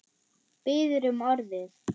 Biður um orðið.